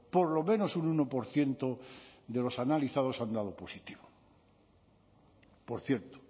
por lo menos un uno por ciento de los analizados han dado positivo por cierto